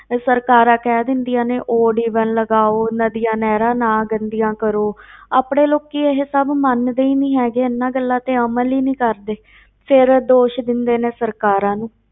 ਇਹ ਸਰਕਾਰਾਂ ਕਹਿ ਦਿੰਦੀਆਂ ਨੇ odd even ਲਗਾਓ, ਨਦੀਆਂ ਨਹਿਰਾਂ ਨਾ ਗੰਦੀਆਂ ਕਰੋ ਆਪਣੇ ਲੋਕੀ ਇਹ ਸਭ ਮੰਨਦੇ ਹੀ ਨੀ ਹੈਗੇ, ਇਹਨਾਂ ਗੱਲਾਂ ਤੇ ਅਮਲ ਹੀ ਨੀ ਕਰਦੇ ਫਿਰ ਦੋਸ਼ ਦਿੰਦੇ ਨੇ ਸਰਕਾਰਾਂ ਨੂੰ।